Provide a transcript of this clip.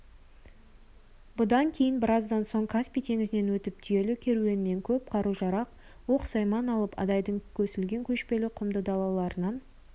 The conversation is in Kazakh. бұдан кейін біраздан соң каспий теңізінен өтіп түйелі керуенмен көп қару-жарақ оқ-сайман алып адайдың көсілген көшпелі құмды далаларынан